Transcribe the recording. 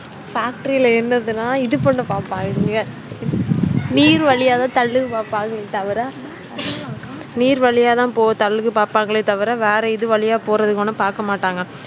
factory இதுனாஇது பண்ண பாப்பாங்க நீர் வழியா நீர் வழியத்தான் தள்ளு பாப்பங்கலே தவிர வேற இது வழியா போறதுக்குஒன்னும் பாக்கமாட்டாங்க